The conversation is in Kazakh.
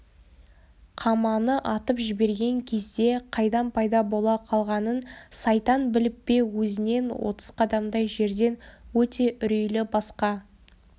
қаманы атып жіберген кезде қайдан пайда бола қалғанын сайтан біліп пе өзінен отыз қадамдай жерден өте үрейлі басқа